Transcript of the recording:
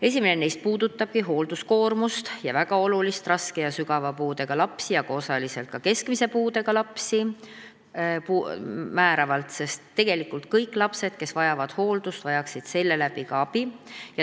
Esimene neist puudutab hoolduskoormust ning raske ja sügava puudega lapsi ja osaliselt ka keskmise puudega lapsi, sest tegelikult kõik lapsed, kes vajavad hooldust, vajaksid selle kaudu saadavat abi.